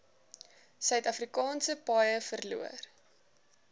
suidafrikaanse paaie verloor